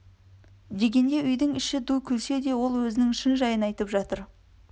дегенде үйдің іші ду күлсе де ол өзінің шын жайын айтып жатыр